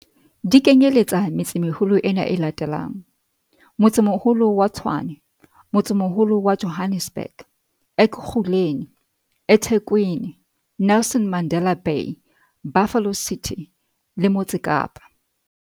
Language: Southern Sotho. Di kenyeletsa metse-meholo ena e latelang- Motsemoholo wa Tshwane Motsemoholo wa Johannesburg Ekurhuleni eThekwini Nelson Mandela Bay Buffalo City le Motse Kapa